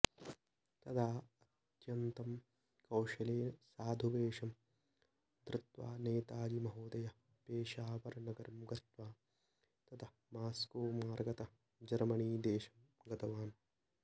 तदा अत्यन्तं कौशलेन साधुवेषं धृत्वा नेताजी महोदयः पेषावरनगरं गत्वा ततः मास्कोमार्गतः जर्मनीदेशं गतवान्